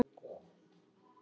spyr sá eldri.